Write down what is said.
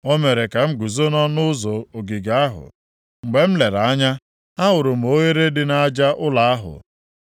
O mere ka m guzo nʼọnụ ụzọ ogige ahụ, mgbe m lere anya, ahụrụ m oghere dị nʼaja ụlọ ahụ.